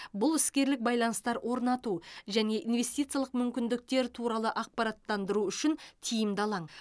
бұл іскерлік байланыстар орнату және инвестициялық мүмкіндіктер туралы ақпараттандыру үшін тиімді алаң